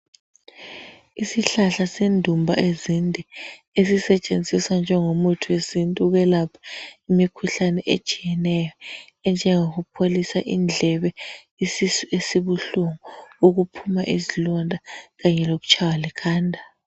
Isihlahla sendumba ezinde esisetshenziswa njengo muthi wesintu ukwelapha imikhuhlane etshiyeneyo, enjengoku pholisa indlebe, isisu esibuhlungu ukuphuma izilonda kanye lokutshaywa likhanda.